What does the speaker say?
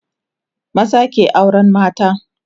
maza ke auran mata